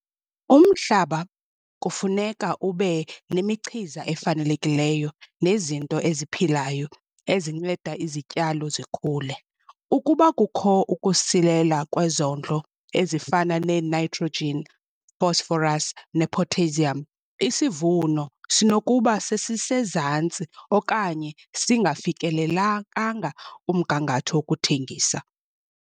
Umhlaba kufuneka ube nemichiza efanelekileyo nezinto eziphilayo ezinceda izityalo zikhule. Ukuba kukho ukusilela kwezondlo ezifana neenaytrojin fosforas nepotheyziyam isivuno sinokuba sesisezantsi okanye singafikelelakanga kumgangatho okuthengisa.